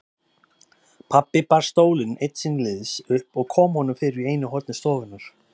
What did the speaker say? Pabbi bar stólinn einn síns liðs upp og kom honum fyrir í einu horni stofunnar.